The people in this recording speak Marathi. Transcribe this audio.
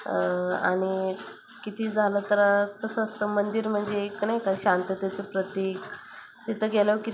अह आणि कितीही झाल तर कस असत मंदिर म्हणजे एक नाही का शांततेच प्रतीक तिथ गेल्यावर की --